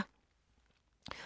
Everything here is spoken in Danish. TV 2